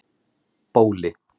Bóli